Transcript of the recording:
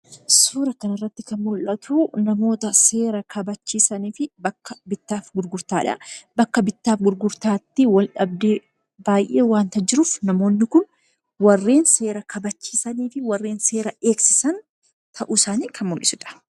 Suura kanarratti kan mul'atu, namoota seera kabachiisanii fi bakka bittaa fi gurgurtaadha. Bakka bittaa fi gurgurtaatti wal-dhabdee baay'ee waanta jiruuf namootni kun warreen seera kabachiisanii fi warreen seera eegsisan ta'uu isaanii kan mul'isudha.